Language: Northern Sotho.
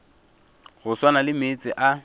go swana le meetse a